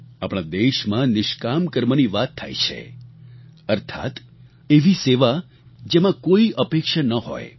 આપણા દેશમાં નિષ્કામ કર્મની વાત થાય છે અર્થાત્ એવી સેવા જેમાં કોઈ અપેક્ષા ન હોય